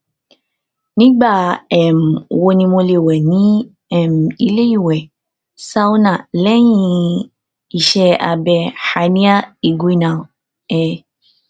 nigba um wo ni mo le wẹ ni um ile iwẹ sauna lẹhin iṣẹ abẹ hernia inguinal um